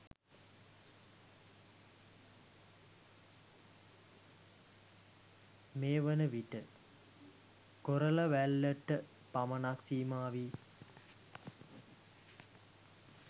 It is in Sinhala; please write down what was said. මේවන විට කොරලවැල්ලට පමණක් සීමා වී